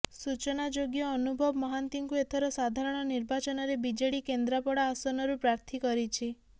ସୂଚନାଯୋଗ୍ୟ ଅନୁଭବ ମହାନ୍ତିଙ୍କୁ ଏଥର ସାଧାରଣ ନିର୍ବାଚନରେ ବିଜେଡି କେନ୍ଦ୍ରାପଡ଼ା ଆସନରୁ ପ୍ରାର୍ଥୀ କରିଛି